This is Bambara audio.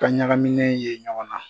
Ka ɲagaminen ye ɲɔgɔn na.